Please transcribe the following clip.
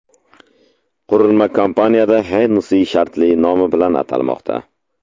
Qurilma kompaniyada Hennessy shartli nomi bilan atalmoqda.